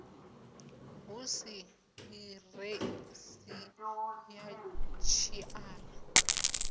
hu si ḓiresi ya tshiṱara